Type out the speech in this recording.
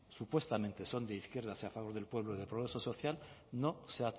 supuestamente son de izquierdas y a favor del pueblo del progreso social no se